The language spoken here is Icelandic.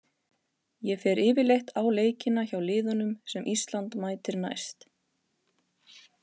Ég fer yfirleitt á leikina hjá liðunum sem Ísland mætir næst.